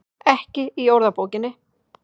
Ekki í orðabókinni.